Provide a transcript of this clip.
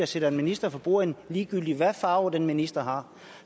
sidder en minister for bordenden ligegyldigt hvad farve den minister har